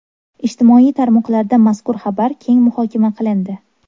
Ijtimoiy tarmoqlarda mazkur xabar keng muhokama qilindi.